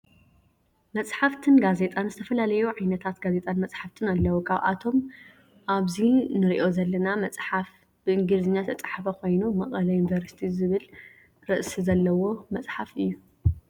መፅሓፍትን ጋዜጣን ዝተፈላለዩ ዓይነታት ጋዜጣን መፀሓፍትን ኣለው ካብኣቶም ኣብዚ እንሪኦ ዘለና መፀሓፍ ብእንግለዘኛ ዝተፀሓፈ ኮይኑ መቀለ ዩኒቨርስቲ ዝብል ርእሲ ዘለዎ መፅሓፍ እዩ።